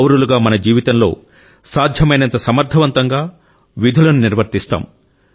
పౌరులుగా మన జీవితంలో సాధ్యమైనంత సమర్థవంతంగా మన విధులను నిర్వర్తిస్తాం